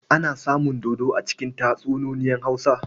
Ana samun dodo a cikin tatsuniyoyin Hausa.